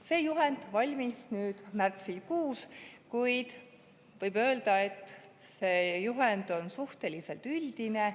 See juhend valmis märtsikuus, kuid võib öelda, et see on suhteliselt üldine.